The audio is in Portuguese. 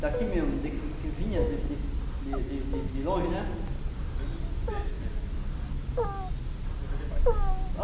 Daqui mesmo, que que vinha de de de de de de longe, né? Estou vendo, do peixe mesmo assim, você venderia para quem isso?